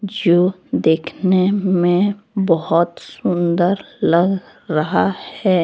जो देखने में बहुत सुंदर लग रहा है।